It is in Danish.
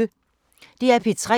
DR P3